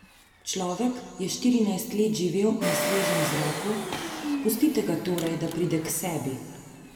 Človek je štirinajst let živel na svežem zraku, pustite ga torej, da pride k sebi.